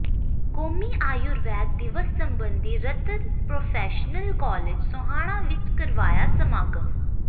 ਕੌਮੀ ਆਯੁਰਵੈਦ ਦਿਵਸ ਸਬੰਧੀ ਰਤਨ ਪ੍ਰੋਫੈਸ਼ਨਲ ਕਾਲਜ ਸੋਹਾਣਾ ਵਿੱਚ ਕਰਵਾਇਆ ਸਮਾਗਮ